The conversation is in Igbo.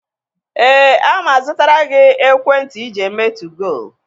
Eh, a ma-azụtara gị ekwentị ịji eme 2goo.